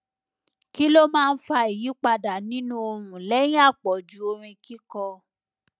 kí ló máa ń fa ìyípadà nínú ohun lẹyìn àpọjù orin kíkọ